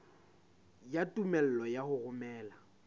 ya tumello ya ho romela